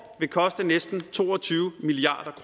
vil koste næsten to og tyve milliard